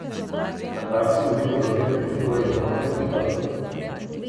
Na Arsu umiritev razmer pričakujejo v noči na četrtek.